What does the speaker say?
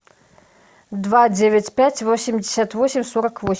два девять пять восемьдесят восемь сорок восемь